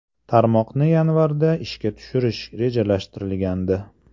Tarmoqni yanvarda ishga tushirish rejalashtirilgandi.